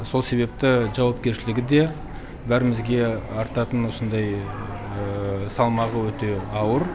сол себепті жауапкершілігі де бәрімізге артатын осындай салмағы өте ауыр